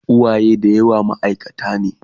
uwaye da yawa maaikata ne